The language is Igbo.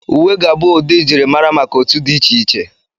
Uwe ga-abụ ụdị njirimara maka otu dị iche iche.